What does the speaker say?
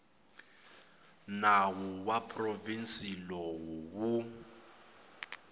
nawu wa provhinsi lowu wu